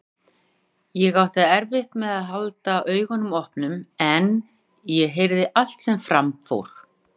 Ég átti erfitt með að halda augunum opnum en ég heyrði allt sem fram fór.